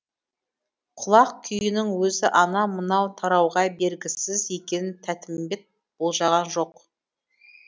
құлақ күйінің өзі анау мынау тарауға бергісіз екенін тәтімбет болжаған жоқ